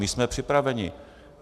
My jsme připraveni.